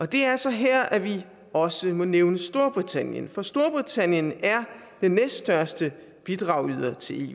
det er så her at vi også må nævne storbritannien for storbritannien er den næststørste bidragsyder til